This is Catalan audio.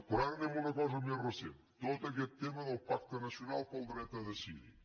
però ara anem a una cosa més recent tot aquest tema del pacte nacional pel dret a decidir